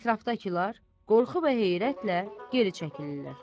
Ətrafdakılar qorxu və heyrətlə geri çəkilirlər.